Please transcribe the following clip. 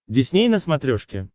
дисней на смотрешке